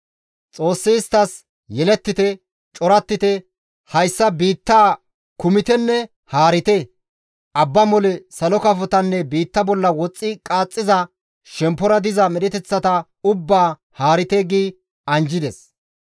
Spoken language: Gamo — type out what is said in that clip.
Xoossi isttas, «Yelettite; corattite; hayssa biittaa kumitenne haarite; abba mole, salo kafotanne biitta bolla woxxi qaaxxiza, shemppora diza medheteththata ubbaa haarite» gi anjjides.